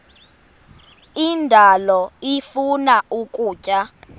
indalo ifuna ukutya